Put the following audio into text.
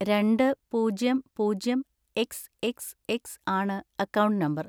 രണ്ട് പൂജ്യം പൂജ്യം എക്സ് എക്സ് എക്സ് ആണ് അക്കൗണ്ട് നമ്പർ.